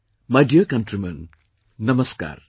My dear countrymen, namaskar